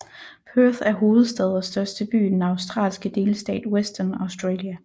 Perth er hovedstad og største by i den australske delstat Western Australia